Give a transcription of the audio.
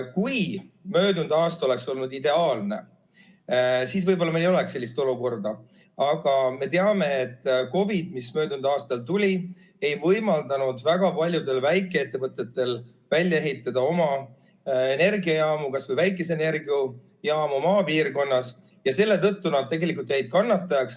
Kui möödunud aasta oleks olnud ideaalne, siis võib-olla meil ei oleks sellist olukorda, aga me teame, et COVID, mis möödunud aastal tuli, ei võimaldanud väga paljudel väikeettevõtetel ehitada välja oma energiajaamu, kas või väikeseid energiajaamu maapiirkonnas, ja selle tõttu nad tegelikult jäid kannatajaks.